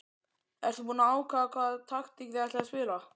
Ertu búinn að ákveða hvaða taktík þið ætlið að spila?